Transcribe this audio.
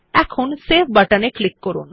এখন সেভ বাটনে ক্লিক করুন